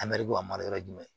A mɛrike a mara yɔrɔ ye jumɛn